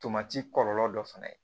Tomati kɔlɔlɔ dɔ fana ye